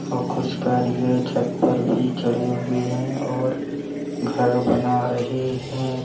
औ कुछ कारीगर छत पर भी चढ़े हुए हैं और घर बना रहे हैं।